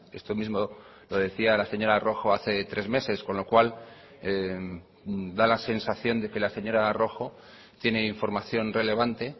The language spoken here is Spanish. esto mismo lo decía la señora rojo hace tres meses con lo cual da la sensación de que la señora rojo tiene información relevante